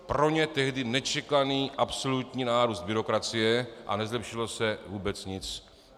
Pro ně tehdy nečekaný absolutní nárůst byrokracie a nezlepšilo se vůbec nic.